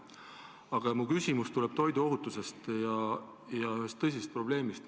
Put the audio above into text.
Aga mu küsimus tuleb toiduohutuse ja ühe tõsise probleemi kohta.